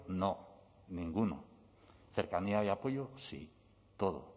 no ninguno cercanía y apoyo sí todo